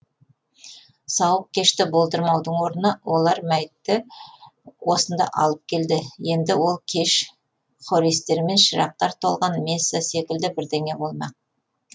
сауық кешті болдырмаудың орнына олар мәйтті осында алып келді енді ол кеш хористермен шырақтар толған месса секілді бірдеңе болмақ